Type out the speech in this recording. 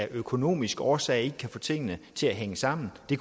af økonomiske årsager ikke kan få tingene til at hænge sammen det